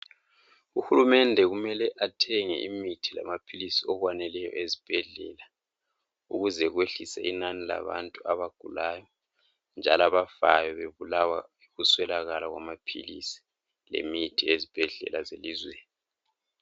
Uhulumende kumele athenge imithi lamaphilisi okwaneleyo ezibhedlela ukuze kwehlise inani labantu abagulayo njalo abafayo bebulawa yikuswelakala kwamaphilisi lemithi ezibhedlela zelizweni .